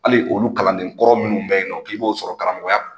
Hali olu kalanden kɔrɔ minnu bɛɛ yen nɔ k'i b'o sɔrɔ karamɔgɔya